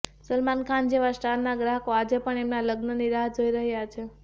સલમાન ખાન જેવા સ્ટારના ચાહકો આજે પણ એમના લગ્નની રાહ જોઈ રહ્યા છે